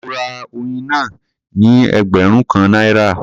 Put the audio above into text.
Mo ra oyin náà ní ẹgbẹ̀rún kan náírà.